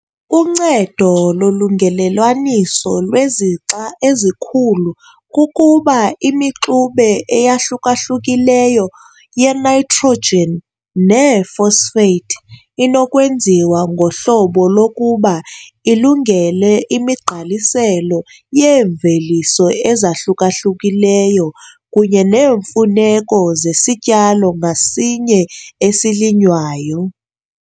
Uncedo lolungelelwaniso lwezixa ezikhulu kukuba imixube eyahluka-hlukileyo ye-nitrogen nee-phosphate inokwenziwa ngohlobo lokuba ilungele imigqaliselo yeemveliso ezahluka-hlukileyo kunye neemfuneko zesityalo ngasinye esilinywayo.